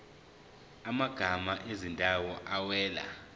amagama ezindawo awela